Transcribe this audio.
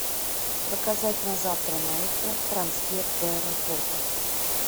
заказать на завтра на утро трансфер до аэропорта